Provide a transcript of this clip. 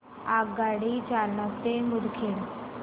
आगगाडी जालना ते मुदखेड